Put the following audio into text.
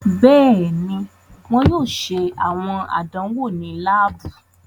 Bẹẹni, wọn yoo ṣe awọn àdánwò ni laabu